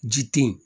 Ji te yen